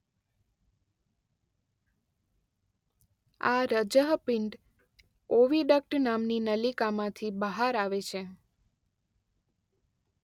આ રજ:પિંડ ઓવીડક્ટ નામની નલિકામાંથી બહાર આવે છે.